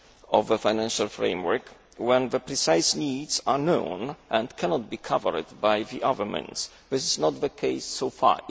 of the financial framework when the precise needs are known and cannot be covered by other means, which is not the case so far.